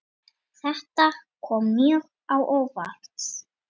Þetta kom mjög á óvart.